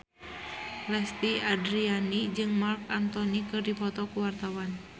Lesti Andryani jeung Marc Anthony keur dipoto ku wartawan